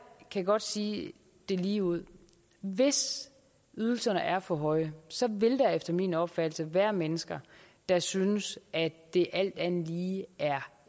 kan godt sige det ligeud hvis ydelserne er for høje så vil der efter min opfattelse være mennesker der synes at det alt andet lige er